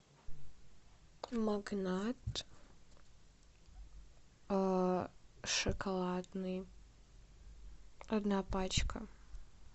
магнат шоколадный одна пачка